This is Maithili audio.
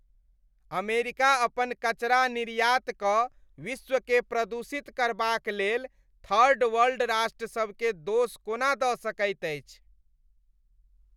अमेरिका अपन कचरा निर्यात कऽ विश्वकेँ प्रदूषित करबाकलेल थर्ड वर्ल्ड राष्ट्रसभकेँ दोष कोना दऽ सकैत अछि?